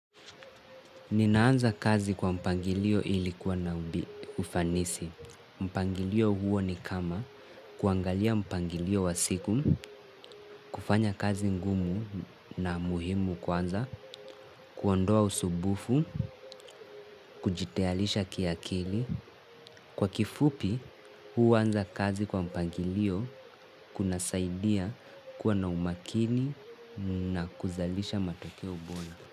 Ninaanza kazi kwa mpangilio ilikuwa na ufanisi. Mpangilio huo ni kama kuangalia mpangilio wa siku, kufanya kazi ngumu na muhimu kwanza, kuondoa usubufu, kujityalisha kiakili. Kwa kifupi, huanza kazi kwa mpangilio kuna saidia kuwa na umakini na kuzalisha matokeo bona.